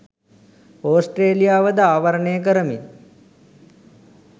ඕස්ට්‍රේලියාවද ආවරණය කරමින්